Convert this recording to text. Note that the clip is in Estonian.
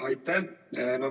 Aitäh!